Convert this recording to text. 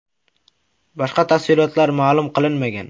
Boshqa tafsilotlar ma’lum qilinmagan.